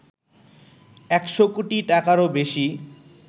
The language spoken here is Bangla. ১০০ কোটি টাকারও বেশি